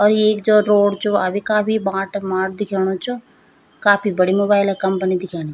और येक जो रोड च वा भी काफी बाट माट दिखेणु च काफी बड़ी मोबाइल क कंपनी दिखेनी।